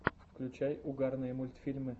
включай угарные мультфильмы